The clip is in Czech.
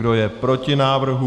Kdo je proti návrhu?